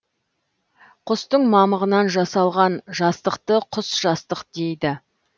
құстың мамығынан жасалған жастықты құс жастық дейді